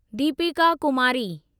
Deepika Kumari